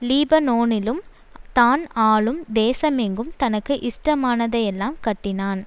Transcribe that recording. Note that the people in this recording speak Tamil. லீபனோனிலும் தான் ஆளும் தேசமெங்கும் தனக்கு இஷ்டமானதையெல்லாம் கட்டினான்